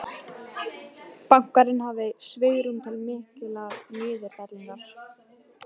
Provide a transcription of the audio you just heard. Bankarnir hafi svigrúm til mikillar niðurfellingar